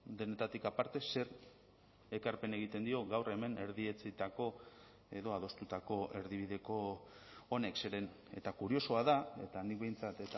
denetatik aparte zer ekarpen egiten dio gaur hemen erdietsitako edo adostutako erdibideko honek zeren eta kuriosoa da eta nik behintzat